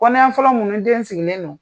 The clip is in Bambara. Kɔnɔya fɔlɔ minnu ni den sigilen don